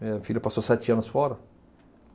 Minha filha passou sete anos fora.